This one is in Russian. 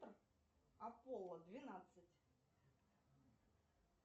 аполло двенадцать